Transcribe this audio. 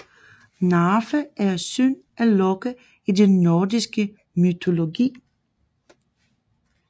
Narfe er søn af Loke i den nordiske mytologi